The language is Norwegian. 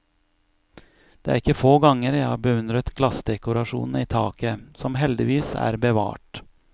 Det er ikke få ganger jeg har beundret glassdekorasjonene i taket, som heldigvis er bevart.